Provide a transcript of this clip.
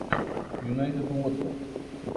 юнайтед уотфорд